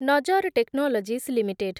ନଜର technologies limited